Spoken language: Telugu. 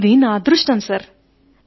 ఇది నా అదృష్టం సార్